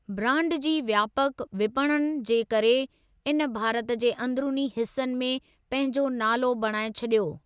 Brand जी व्यापक विपणन जे करे इन भारत जे अंदरूनी हिस्सनि में पंहिंजो नालो बणाए छॾियो।